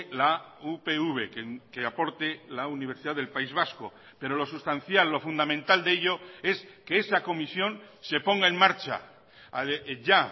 la upv que aporte la universidad del país vasco pero lo sustancial lo fundamental de ello es que esa comisión se ponga en marcha ya